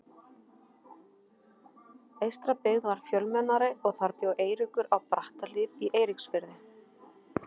Eystribyggð var fjölmennari og þar bjó Eiríkur, á Brattahlíð í Eiríksfirði.